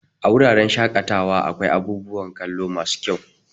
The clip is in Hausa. A wuraren shaƙatawa akwai abubuwan kallo masu kyau.